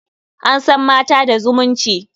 An san mata da zumunci.